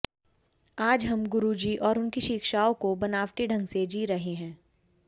आज हम गुरुजी और उनकी शिक्षाओं को बनावटी ढंग से जी रहे हैं